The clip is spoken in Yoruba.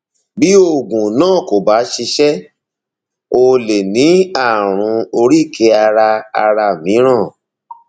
bí oògùn náà kò bá ṣiṣẹ o lè ní ààrùn oríkèé ara ara mìíràn